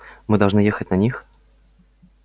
мы должны ехать на них